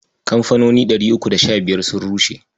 Kamfanoni ɗari uku da sha biyar sun rushe.